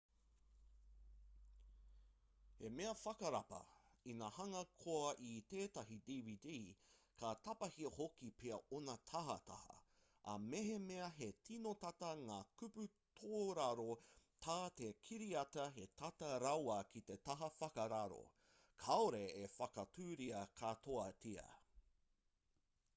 he mea whakarapa ina hanga koe i tētahi dvd ka tapahia hoki pea ōna tahataha ā mehemea he tino tata ngā kupu tōraro tā te kiriata he tata rawa ki te taha whakararo kāore e whakaaturia katoatia